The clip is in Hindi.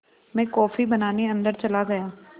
मैं कॉफ़ी बनाने अन्दर चला गया